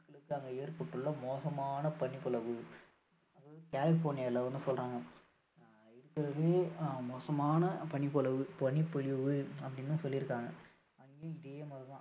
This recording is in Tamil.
அடுத்து அங்கு ஏற்பட்டுள்ள மோசமான பனிப்பொழிவு அதாவது கலிபோர்னியால வந்து சொல்றாங்க இருக்கிறதுலயே மோசமான பனிப்பொழிவு அப்படின்னு சொல்லி இருக்காங்க அங்கேயும் இதே மாதிரி தான்